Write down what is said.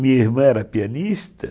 Minha irmã era pianista.